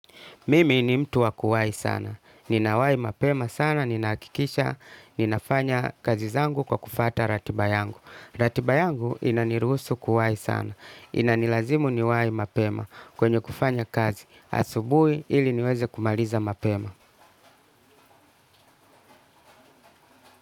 Mimi ni mtu wa kuwai sana. Ninawahi mapema sana, ninahakikisha, ninafanya kazi zangu kwa kufuata ratiba yangu. Ratiba yangu inaniruhusu kuwai sana. Inanilazimu niwai mapema kwenye kufanya kazi. Asubuhi ili niweze kumaliza mapema.